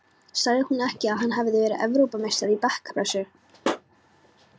Sagði hún ekki að hann hefði verið Evrópumeistari í bekkpressu?